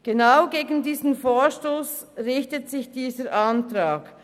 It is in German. Der Antrag richtet sich vermutlich gegen diesen Vorstoss.